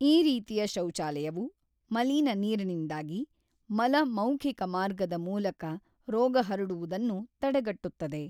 ಈ ರೀತಿಯ ಶೌಚಾಲಯವು ಮಲೀನ ನೀರಿನಿಂದಾಗಿ ಮಲ-ಮೌಖಿಕ ಮಾರ್ಗದ ಮೂಲಕ ರೋಗ ಹರಡುವುದನ್ನು ತಡೆಗಟ್ಟುತ್ತದೆ.